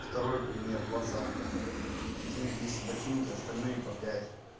второй пример двадцатка из них ботинки остальные по